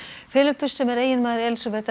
Filippus sem er eiginmaður Elísabetar